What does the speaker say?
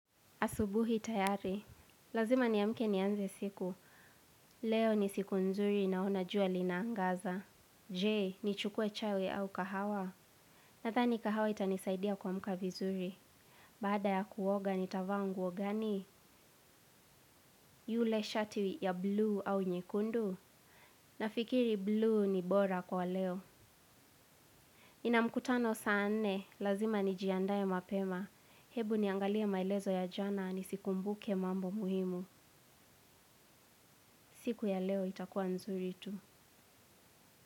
Asubuhi tayari, lazima niamke nianze siku, leo ni siku nzuri naona jua linaangaza. Je, nichukue chai au kahawa, nadhani kahawa itanisaidia kuamka vizuri. Baada ya kuoga nitava nguo gani, yule shati ya bluu au nyekundu, nafikiri bluu ni bora kwa leo nina mkutano saa nne, lazima nijiandae mapema, ebu niangalie maelezo ya jana nisikumbuke mambo muhimu. Siku ya leo itakuwa nzuri tu.